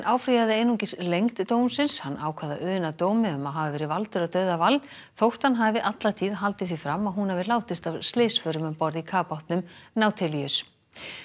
áfrýjaði einungis lengd dómsins hann ákvað að una dómi um að hafa verið valdur að dauða Wall þótt hann hafi alla tíð haldið því fram að hún hafi látist af slysförum um borð í kafbátnum nautilus